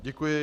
Děkuji.